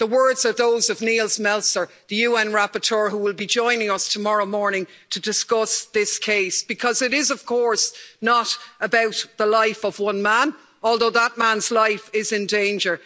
the words are those of Nils Melzer, the UN rapporteur who will be joining us tomorrow morning to discuss this case because it is, of course, not about the life of one man, although that man's life is in danger.